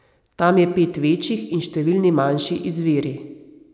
Tam je pet večjih in številni manjši izviri.